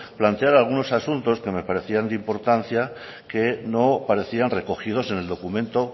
plantear algunos asuntos que me parecían de importancia que no parecían recogidos en el documento